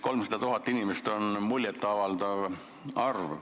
300 000 inimest on muljet avaldav arv.